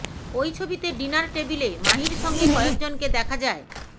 ওই ছবিতে ডিনার টেবিলে মাহির সঙ্গে কয়েকজনকে দেখা যায়